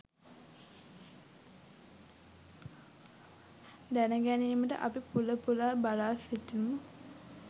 දැනගැනීමට අපි පුල පුලා බලා සිටිමු.